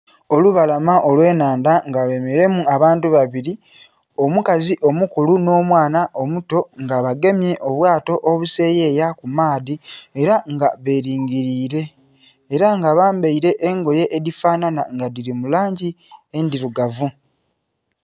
Olubalama olw'ennhandha nga lyemeleilemu abantu babili. Omukazi omukulu nh'omwana omuto nga bagemye obwato obuseyeya ku maadhi ela nga belingiliile. Ela nga bambaile engoye edhifanhanha nga dhili mu langi endhilugavu.